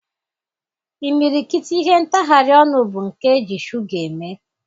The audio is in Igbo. Imirikiti ihe ntagharị ọnụ bụ nke eji shuga eme.